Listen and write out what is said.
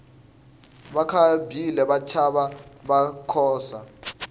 vakabhila vatshafa vakakhosa